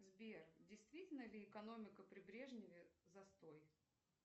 сбер действительно ли экономика при брежневе застой